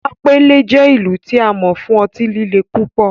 Sapele jẹ ilu ti a mọ fun ọti-lile pupọ